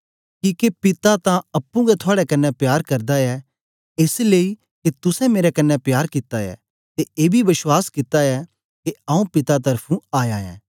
किके पिता ततां अप्पुं गै थुआड़े कन्ने प्यार करदा ऐ एस लेई के तुसें मेरे कन्ने प्यार कित्ता ऐ ते एबी बश्वास कित्ता ऐ के आऊँ पिता त्र्फुं आया ऐं